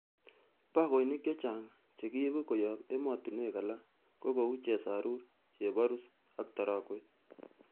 Bogoinik chechang chekiibu koyob emotinwek alak ko kou chesarur, cheborus, ak taragwet.